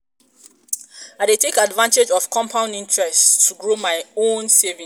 i dey take advantage of compound interest um to um grow my um savings.